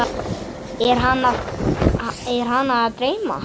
Er hana að dreyma?